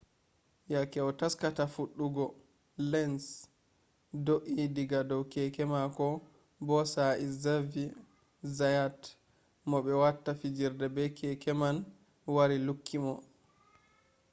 yake o taskata fuɗɗugo lenz do’i diga dow keke mako bo sai zaviye zayat mo ɓe watta fijirde be keke man wari lukki mo